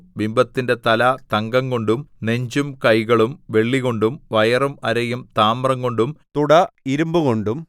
ബിംബത്തിന്റെ തല തങ്കംകൊണ്ടും നെഞ്ചും കൈകളും വെള്ളികൊണ്ടും വയറും അരയും താമ്രംകൊണ്ടും തുട ഇരിമ്പുകൊണ്ടും